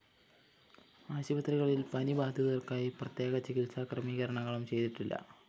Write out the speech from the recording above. ആശുപത്രികളില്‍ പനി ബാധിതര്‍ക്കായി പ്രത്യേക ചികിത്സാ ക്രമീകരണങ്ങളും ചെയ്തിട്ടില്ല